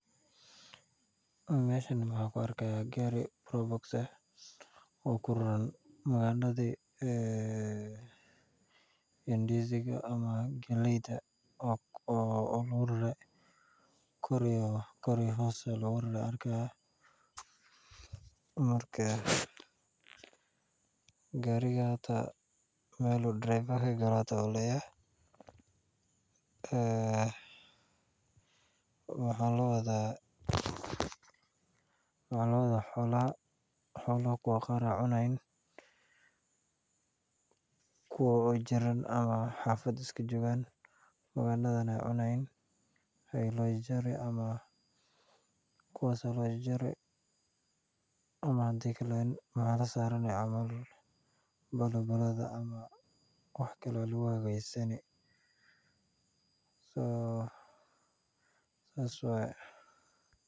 Meeshan waxaan ku arki haaya gaari oo ku raran magandada ndiziga ama galeeyda oo kor iyo hoos looga rare meel darawal lagalo xitaa waa la laayahay xoolaha ayaa loo wadaa kuwa qaar ayaa cunaan kuwa jiran oo xafada joogan ayaa cunaan ama balambalada ama wax kale ayaa lagu hagaajisani.